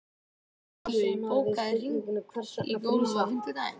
Illugi, bókaðu hring í golf á fimmtudaginn.